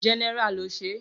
General lo ṣe.